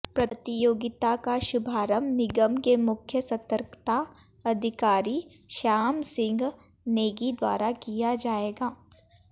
प्रतियोगिता का शुभारंभ निगम के मुख्य सतर्कता अधिकारी श्याम सिंह नेगी द्वारा किया जाएगा